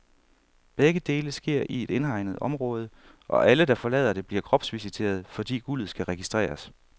Begge dele sker i et indhegnet område, og alle, der forlader det, bliver kropsvisiteret, fordi guldet skal registreres.